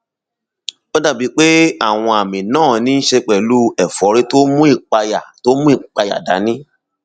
ó dàbíi pé àwọn àmì náà níí ṣe pẹlú ẹfọrí tó mú ìpayà tó mú ìpayà dání